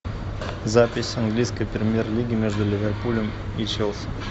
запись английской премьер лиги между ливерпулем и челси